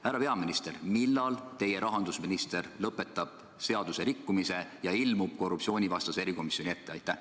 Härra peaminister, millal teie rahandusminister lõpetab seaduse rikkumise ja ilmub korruptsioonivastase erikomisjoni ette?